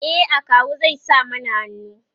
e akawu zai sa mana hannu